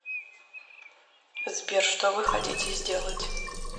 сбер что вы хотите сделать